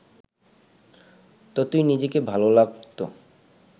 ততই নিজেকে ভালো লাগত